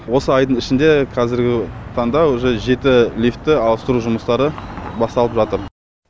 осы айдың ішінде қазіргі таңда уже жеті лифті ауыстыру жұмыстары басталып жатыр